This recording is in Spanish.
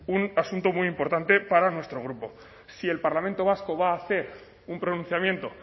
un asunto muy importante para nuestro grupo si el parlamento vasco va a hacer un pronunciamiento